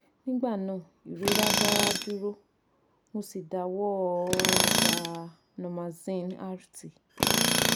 nigba naa irora da duro mo si dawọ gba normaxin rt